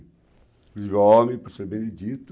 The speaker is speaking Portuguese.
Inclusive o homem, o professor Benedito.